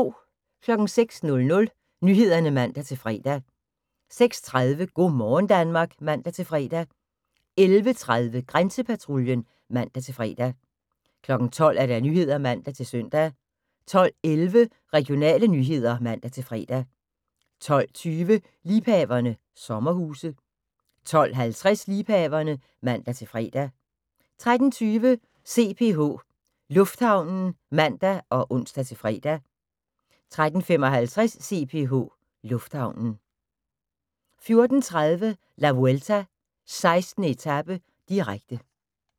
06:00: Nyhederne (man-fre) 06:30: Go' morgen Danmark (man-fre) 11:30: Grænsepatruljen (man-fre) 12:00: Nyhederne (man-søn) 12:11: Regionale nyheder (man-fre) 12:20: Liebhaverne – sommerhuse 12:50: Liebhaverne (man-fre) 13:20: CPH Lufthavnen (man og ons-fre) 13:55: CPH Lufthavnen 14:30: La Vuelta: 16. etape, direkte